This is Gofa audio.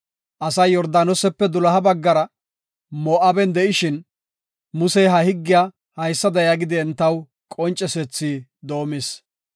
Asay Yordaanosepe doloha baggara, Moo7aben de7ishin, Musey ha higgiya haysada yaagidi entaw qoncisethi doomis.